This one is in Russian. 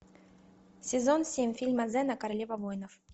сезон семь фильма зена королева воинов